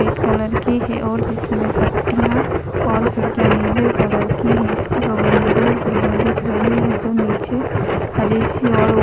सफ़ेद कलर की है और जिसमें पट्टीयाँ और खिड़कियां नीले कलर की है इसके बगल में दो और बिल्डिंग दिख रही है जो नीचे हरी सी और उप --